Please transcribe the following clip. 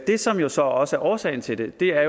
det som jo så også er årsagen til det er